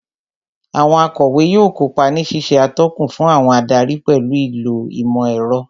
Àwọn akọ̀wé yóò kópa ní ṣíṣe atọ́kùn fún àwọn adarí pẹ̀lú ìlò ìmọ̀ ẹ̀rọ